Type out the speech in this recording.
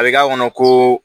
A bɛ k'a kɔnɔ ko